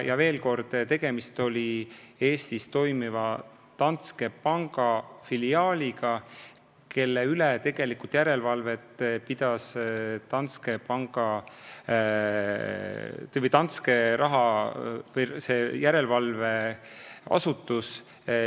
Veel kord: tegemist on Eestis tegutseva Danske panga filiaaliga, kelle üle tegelikult pidas järelevalvet nende oma järelevalveasutus.